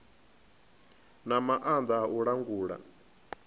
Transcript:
na maanḓa a u langula